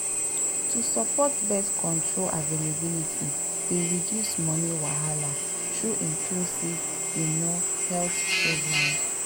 to support birth control availability dey reduce money wahala through inclusive you know health programs.